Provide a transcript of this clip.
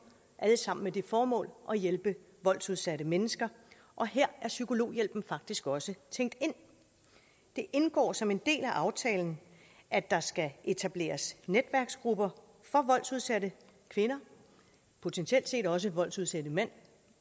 alle sammen med det formål at hjælpe voldsudsatte mennesker og her er psykologhjælpen faktisk også tænkt ind det indgår som en del af aftalen at der skal etableres netværksgrupper for voldsudsatte kvinder potentielt set også for voldsudsatte mænd